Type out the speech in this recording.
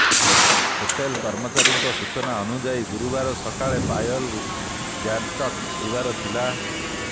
hotel କର୍ମଚାରୀଙ୍କ ସୂଚନା ଅନୁଯାୟୀ ଗୁରୁବାର ସକାଳେ ପାୟଲ ଗ୍ୟାଙ୍ଗଟକ ଯିବାର ଥିଲା